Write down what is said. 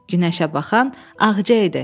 Günəşə baxan Ağca idi.